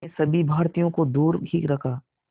ने सभी भारतीयों को दूर ही रखा